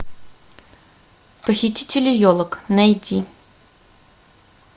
похитители елок найти